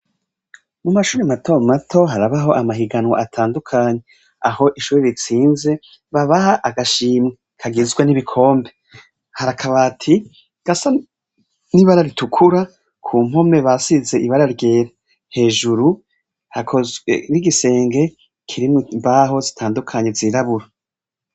Mu mashure mato mato harabaho amahiganwa atandukanye, aho ishure ritsinze babaha agashimwe kagizwe n'ibikombe, hari akabati gasa n'ibara ritukura, ku mpome bashize ibara ryera, hejuru hakozwe n'igisenge kirimwo imbaho zitandukanye zirabura.